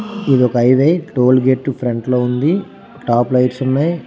ఇది ఒక highway tollgate front లో ఉంది. టాప్ లైట్స్ ఉన్నాయి.